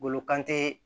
Bolo kan te